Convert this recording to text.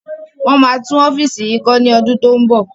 Wọn máa tún ọ́fíìsì yìí kọ́ ni ọdún to ń bọ̀